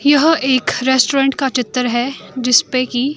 यह एक रेस्टोरेंट का चित्र है जिसपे की--